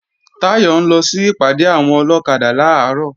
Táyọ̀ ń lọ sí ìpàdé àwọn ọlọ́kadà làárọ̀